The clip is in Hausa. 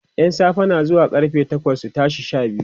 ƴan safe na zuwa karfe bakwai su tashi Sha biyu